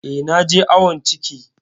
Eh, na je awon ciki.